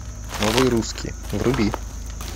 новые русские вруби